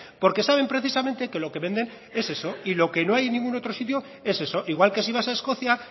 porque saben precisamente que lo que venden es eso y lo que no hay en ningún otro sitio es eso igual que si vas a escocia